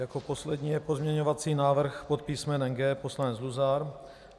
Jako poslední je pozměňovací návrh pod písmenem G - poslanec Luzar.